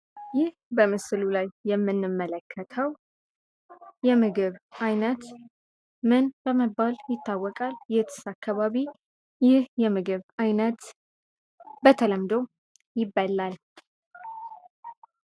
ይህ በምስሉ ላይ የምንመለከተው የምግብ ዓይነት ምን በመባል ይታወቃል የትስ አካባቢ ይህ የምግብ ዓይነት በተለምዶ ይበላል?